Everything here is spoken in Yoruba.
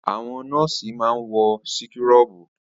Àwọn nọ́ọ̀sì máa ń wọ síkúrọ̀bù.